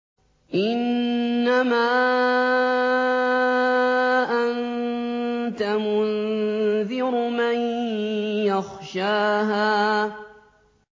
إِنَّمَا أَنتَ مُنذِرُ مَن يَخْشَاهَا